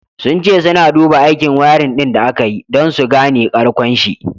Sun ce suna duba aikin wiring din da aka yi, don su gane karkonshi.